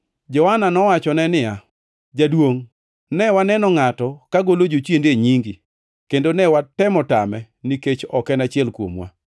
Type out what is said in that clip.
Johana nowachone niya, “Jaduongʼ, ne waneno ngʼato ka golo jochiende e nyingi kendo ne watemo tame, nikech ok en achiel kuomwa.”